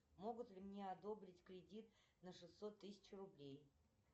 могут ли мне одобрить кредит на шестьсот тысяч рублей